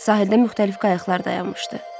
Sahildə müxtəlif qayıqlar dayanmışdı.